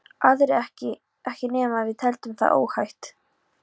Aðrir ekki ekki nema við teldum það óhætt.